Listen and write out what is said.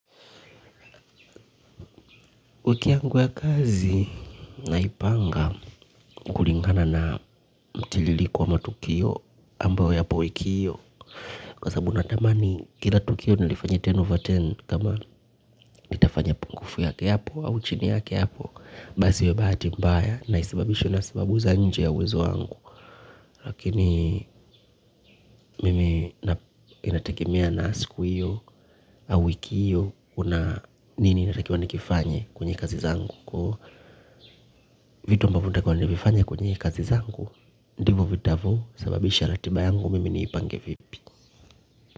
Wiki yangu ya kazi naipanga kulingana na mtiririko wa matukio ambayo yapo wiki hiyo kwa sababu natamani kila tukio nilifanye kumi over kumi kama itafanya pungufu yake yapo au chini yake yapo basi ni bahati mbaya na isibabisho na isibabu za nje ya wezo angu lakini mimi inategemea na siku hiyo au wiki hiyo kuna nini natakiwa nikifanye kwenye kazi zangu, vitu ambavo natakiwa nivifanye kwenye kazi zangu ndivo vitakavyo sababisha ratiba yangu mimi niipange vipi.